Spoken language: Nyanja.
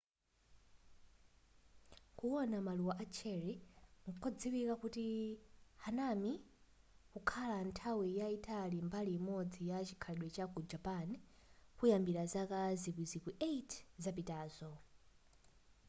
kuwona maluwa a cherry kodziwika kuti hanami kwakhala nthawi yayitali mbali imodzi ya chikhalidwe cha ku japan kuyambira zaka zikwizikwi 8 zapitazo